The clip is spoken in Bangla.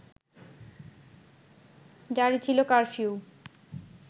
জারি ছিল কারফিউ